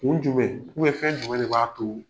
Kun jumɛn ou bien fɛn jumɛn de b'a to